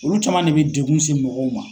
Olu caman de be degun se mɔgɔw ma.